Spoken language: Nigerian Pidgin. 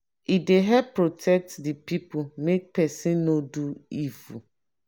e dey help protect de people make pesin no do evil.